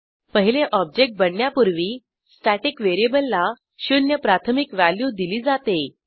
पहिले ऑब्जेक्ट बनण्यापूर्वी स्टॅटिक व्हेरिएबलला शून्य प्राथमिक व्हॅल्यू दिली जाते